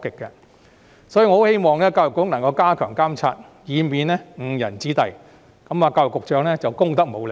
因此，我希望教育局加強監察，以免教師誤人子弟，這樣教育局局長便功德無量。